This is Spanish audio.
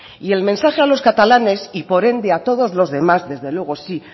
y el mensaje a los catalanes y por ende a todos lo demás desde luego sí